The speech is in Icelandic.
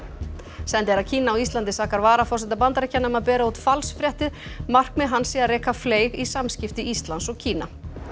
sendiherra Kína á Íslandi sakar varaforseta Bandaríkjanna um að bera út falsfréttir markmið hans sé að reka fleyg í samskipti Íslands og Kína